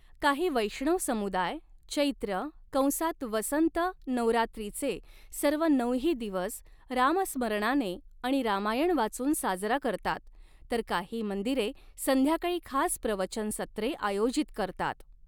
काही वैष्णव समुदाय चैत्र कंसात वसंत नवरात्रीचे सर्व नऊही दिवस रामस्मरणाने आणि रामायण वाचून साजरा करतात, तर काही मंदिरे संध्याकाळी खास प्रवचन सत्रे आयोजित करतात.